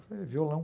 Eu falei, violão.